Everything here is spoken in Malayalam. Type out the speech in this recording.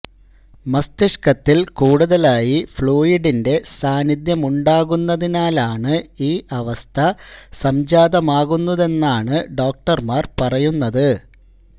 മസ്തിഷക്കത്തില് കൂടുതലായി ഫ്ലൂയിഡിന്റെ സാന്നിധ്യമുണ്ടാകുന്നതിനാലാണ് ഈ അവസ്ഥ സംജാതമാകുന്നതെന്നാണ് ഡോക്ടര്മാര് പറയുന്നത്